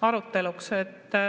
aruteluks.